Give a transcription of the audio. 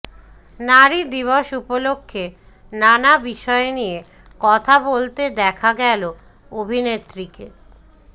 নারী দিবস উপলক্ষে নানা বিষয় নিয়ে কথা বলতে দেখা গেল অভিনেত্রীকে